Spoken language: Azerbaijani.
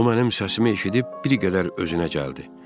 O mənim səsimi eşidib bir qədər özünə gəldi.